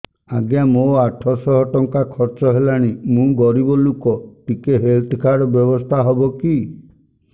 ଆଜ୍ଞା ମୋ ଆଠ ସହ ଟଙ୍କା ଖର୍ଚ୍ଚ ହେଲାଣି ମୁଁ ଗରିବ ଲୁକ ଟିକେ ହେଲ୍ଥ କାର୍ଡ ବ୍ୟବସ୍ଥା ହବ କି